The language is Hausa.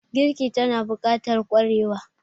Girki tana bukatar kwarewa